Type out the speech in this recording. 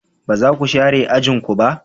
Ba za ku share ajin ku ba?